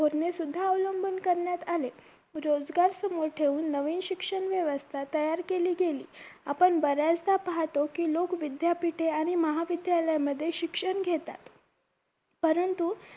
धोरणे सुध्दा अवलंबून करण्यात आले रोजगार समोर ठेऊन नवीन शिक्षण व्यवस्था तयार केली गेली आपण बऱ्याचदा पाहतो की लोग विद्यापीठे आणि महाविद्यालय मध्ये शिक्षण घेतात परंतु